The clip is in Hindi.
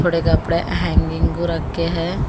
पुडे़ कपड़े हैंगिंग को रखे है।